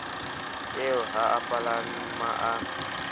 eo ha a palama a